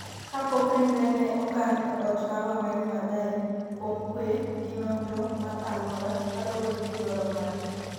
kapok ringre ne okan e ot mar Wangari Maathai kuom kwe gi nonro mar alwora, kaluwore gi dwaro mare